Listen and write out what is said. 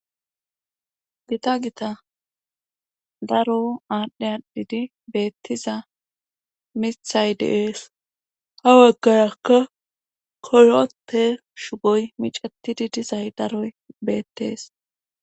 Gita gita daro aadhdhe adhidi beettiza mithay deees ha waggayakka koyopte shugoy micatidi dizay daroy beettees